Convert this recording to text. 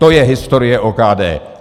To je historie OKD.